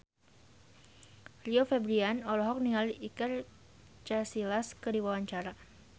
Rio Febrian olohok ningali Iker Casillas keur diwawancara